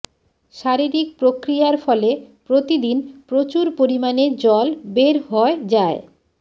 শারীরিক প্রক্রিয়ার ফলে প্রতিদিন প্রচুর পরিমাণে জল বের হয় যায়